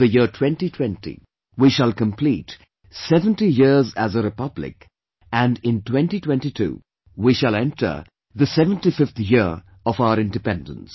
In the year 2020, we shall complete 70 years as a Republic and in 2022, we shall enter 75th year of our Independence